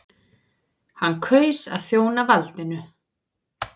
Hann kaus að þjóna valdinu.